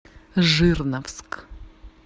жирновск